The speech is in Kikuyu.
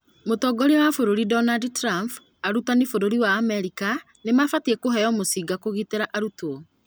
Mũtongoria wa bũrũri Donald Trump: arutani bũrũri wa Amerika nĩmabatie kũheo mũcinga kũgitĩra arutwo